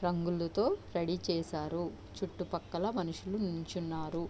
రంగులతో రెడీ చేశారు చుట్టుపక్కల మనుషులు నిలుచున్నారు.